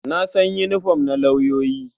Na san yinifom na lauyoyi. I know the uniform of lawyers.